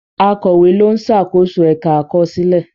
Akọ̀wé ló ń ṣàkóso ẹ̀ka àkọsílẹ̀.